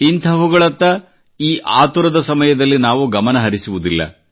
ಇಂಥವುಗಳತ್ತ ಈ ಆತುರದ ಸಮಯದಲ್ಲಿ ನಾವು ಗಮನಹರಿಸುವುದಿಲ್ಲ